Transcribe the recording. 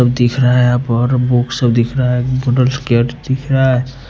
सब दिख रहा हैबुक्स दिख रहा है --